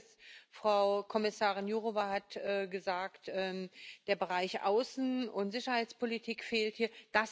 Die erste ist Frau Kommissarin Jourová hat gesagt Der Bereich Außen und Sicherheitspolitik fehlt hier.